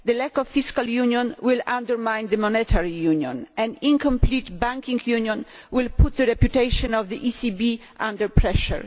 The lack of fiscal union will undermine the monetary union, and an incomplete banking union will put the reputation of the ECB under pressure.